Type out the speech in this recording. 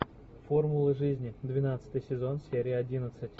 формула жизни двенадцатый сезон серия одиннадцать